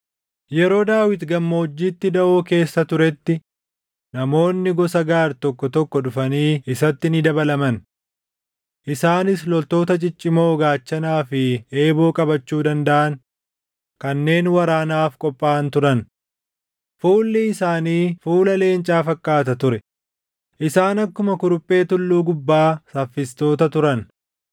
Yeroo Daawit gammoojjiitti daʼoo keessa turetti namoonni gosa Gaad tokko tokko dhufanii isaatti ni dabalaman. Isaanis loltoota ciccimoo gaachanaa fi eeboo qabachuu dandaʼan kanneen waraanaaf qophaaʼan turan. Fuulli isaanii fuula leencaa fakkaata ture; isaan akkuma kuruphee tulluu gubbaa saffistoota turan.